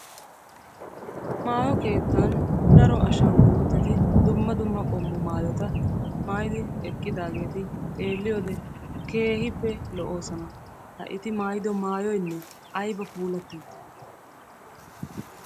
Maayo keettan daro ashanguluuteti dumma dumma maayota maayidi eqqidaageti xeeliyode keehippe lo'oosona. Ha eti maayido maayoynne ayba puulati uttidee?